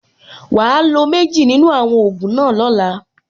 Wàá lo méjì nínú àwọn ògùn náà lọ́la.